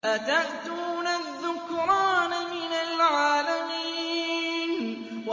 أَتَأْتُونَ الذُّكْرَانَ مِنَ الْعَالَمِينَ